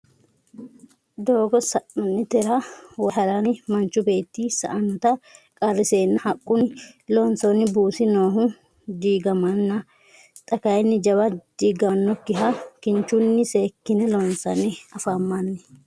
doogo sa'nanitera wayi haranni manchu beeti sa'annota qariseenna haqunni lonsoonni buusi noohu digamanna xa kayinni jawa digamanokiha kinichunni seekine loonsanni afamanni.